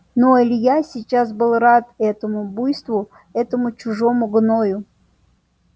но илья сейчас был рад этому буйству этому чужому гною